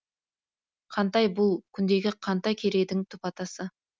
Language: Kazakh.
қантай бұл күндегі қантай керейдің түп атасы